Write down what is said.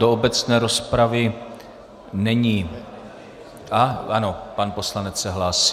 Do obecné rozpravy není - a ano, pan poslanec se hlásí.